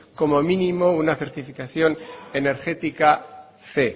como mínimo una certificación energética cien